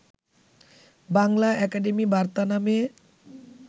Bangla academy বার্তা নামে